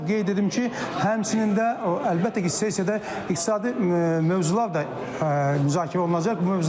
Qeyd edim ki, həmçinin də əlbəttə ki, sessiyada iqtisadi mövzular da müzakirə olunacaq,